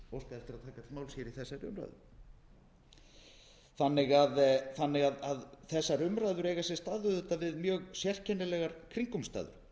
óskað eftir því að taka til máls í þessari umræðu þessar umræður eiga sér auðvitað stað við mjög sérkennilegar kringumstæður